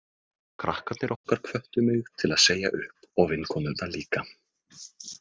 Krakkarnir okkar hvöttu mig til að segja upp og vinkonurnar líka.